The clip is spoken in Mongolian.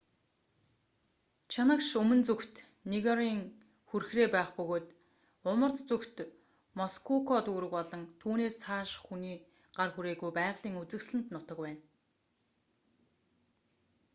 чанагш өмнө зүгт ниагарын хүрхрээ байх бөгөөд умард зүгт мускока дүүрэг болон түүнээс цааших хүний гар хүрээгүй байгалийн үзэсгэлэнт нутаг байна